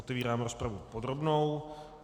Otevírám rozpravu podrobnou.